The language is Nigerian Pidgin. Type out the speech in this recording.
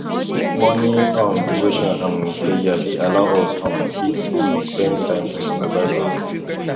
morning um devotion um prayer dey allow us um fit um spend time with baba god